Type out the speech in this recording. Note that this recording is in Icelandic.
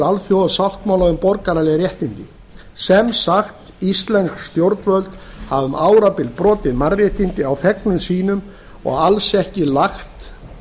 alþjóðasáttmála um borgaraleg réttindi sem sagt íslensk stjórnvöld hafa um árabil brotið mannréttindi á þegnum sínum og alls ekki lagt